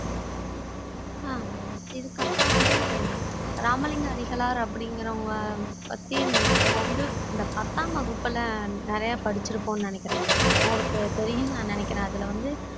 ஆஹ் இதுக்கப்புறம் வந்து ராமலிங்கம் அடிகளார் அப்படிங்கிறவங்க பத்தி நம்ம வந்து இந்த பத்தாம் வகுப்புல நிறைய படிச்சிருப்போம்னு நினைக்கிறேன் உங்களுக்கு தெரியும்னு நான் நினைக்கிறேன் அதுல வந்து